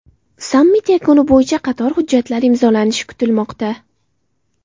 Sammit yakuni bo‘yicha qator hujjatlar imzolanishi kutilmoqda.